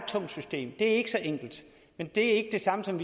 tungt system det er ikke så enkelt men det er ikke det samme som